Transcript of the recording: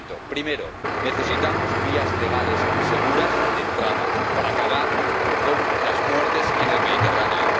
Primero necesitamos vías legales y seguras de entrada para acabar con las muertes en el Mediterráneo.